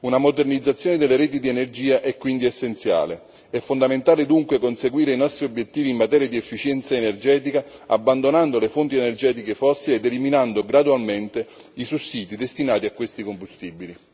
Una modernizzazione delle reti di energia è quindi essenziale. È fondamentale dunque conseguire i nostri obiettivi in materia di efficienza energetica, abbandonando le fonti energetiche fossili ed eliminando gradualmente i sussidi destinati a questi combustibili.